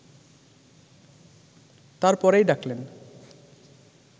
তার পরেই ডাকলেন